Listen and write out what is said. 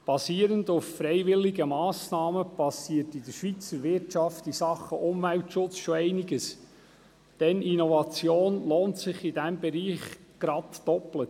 Basierend auf freiwilligen Massnahmen geschieht in der Schweizer Wirtschaft in Sachen Umweltschutz schon einiges, denn Innovation lohnt sich in diesem Bereich gleich doppelt: